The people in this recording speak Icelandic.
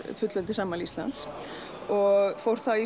fullveldisafmæli Íslands og fór þá í